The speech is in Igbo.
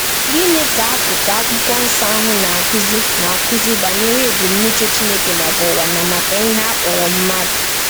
Gịnị ka akụkụ Akwụkwọ Nsọ ahụ na-akụzi na-akụzi banyere ebumnuche Chineke maka ụwa na maka ihe a kpọrọ mmadụ?